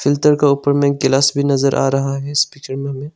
filter के ऊपर में गिलास भी नजर आ रहा है इस --